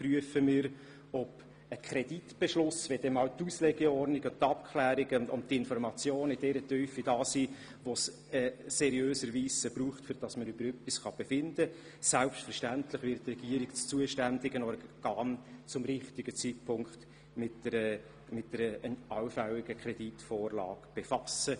Sobald die Auslegeordnung, die Abklärungen und die Informationen in einer Tiefe vorliegen, die es seriöserweise braucht, um über etwas befinden zu können, wird die Regierung selbstverständlich rechtzeitig dem zuständigen Organ einen allfälligen Kreditantrag vorlegen.